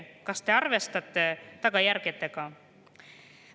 Kas te arvestate tagajärgedega?